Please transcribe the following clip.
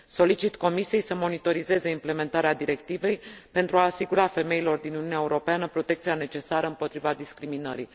Solicit Comisiei să monitorizeze transpunerea directivei pentru a asigura femeilor din Uniunea Europeană protecția necesară împotriva discriminării.